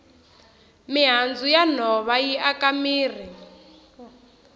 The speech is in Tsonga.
mihandzu ya nhova yi aka mirhi